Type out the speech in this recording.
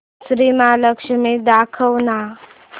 श्री महालक्ष्मी दाखव ना